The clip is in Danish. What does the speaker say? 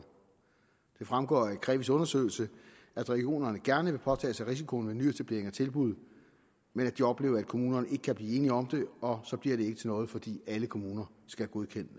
fremgår af krevis undersøgelse at regionerne gerne vil påtage sig risikoen ved nyetablering af tilbud men at de oplever at kommunerne ikke kan blive enige om det og så bliver det ikke til noget fordi alle kommuner skal godkende